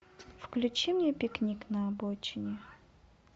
включи мне пикник на обочине